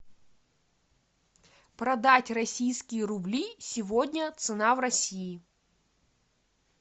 продать российские рубли сегодня цена в россии